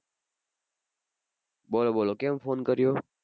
બોલો બોલો કેમ Phone કર્યો?